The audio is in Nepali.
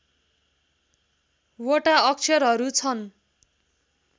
वटा अक्षरहरू छन्